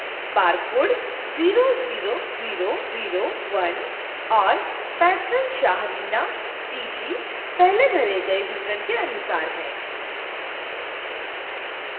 barcode00001 और patronshah reena pg पहले भरे pg विवरण के अनुसार है